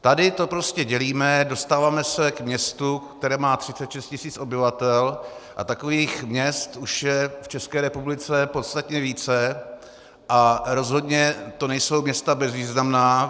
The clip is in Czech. Tady to prostě dělíme, dostáváme se k městu, které má 36 000 obyvatel, a takových měst už je v České republice podstatně více a rozhodně to nejsou města bezvýznamná.